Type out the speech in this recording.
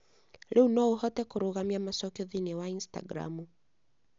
Rĩu no ũhote kũrũgamia macokio thĩinĩ wa Instagram